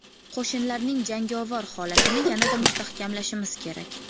Qo‘shinlarning jangovar holatini yanada mustahkamlashimiz kerak.